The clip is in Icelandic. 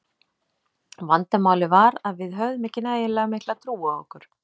Vandamálið var að við höfðum ekki nægilega mikla trú á okkur.